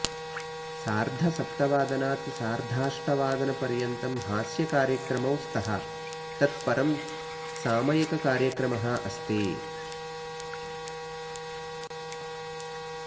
सार्धसप्तवादनात् सार्धाष्टवादन् पर्यन्तं हास्यकार्यक्रमौ स्तः तत् परं सामयिककार्यक्रमः अस्ति